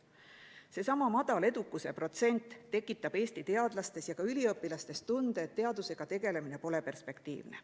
Seesama madal edukuse protsent tekitab Eesti teadlastes ja ka üliõpilastes tunde, et teadusega tegelemine pole perspektiivne.